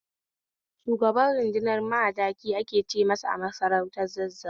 Shugaban rudunar Madaki ake ce masa a masarautar Zazzau